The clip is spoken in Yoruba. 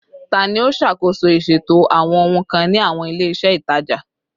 Tani o ṣakoso iṣeto awọn ohun kan ni awọn ile-iṣẹ itaja?